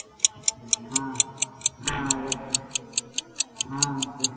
মা ওর বাড়ি থেকে এলো চলে এলো